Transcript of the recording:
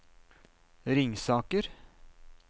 Ringsaker